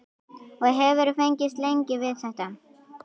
Og hefurðu fengist lengi við þetta?